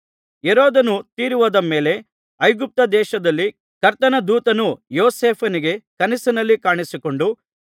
ಹೆರೋದನು ತೀರಿಹೋದ ಮೇಲೆ ಐಗುಪ್ತದೇಶದಲ್ಲಿ ಕರ್ತನ ದೂತನು ಯೋಸೇಫನಿಗೆ ಕನಸಿನಲ್ಲಿ ಕಾಣಿಸಿಕೊಂಡು